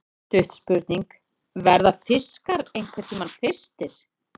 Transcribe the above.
Stutt spurning, verða fiskar einhverntímann þyrstir!??